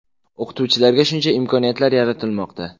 O‘qituvchilarga shuncha imkoniyatlar yaratilmoqda.